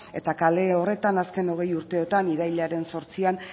eta kale horretan azken hogei urteetan irailaren zortzian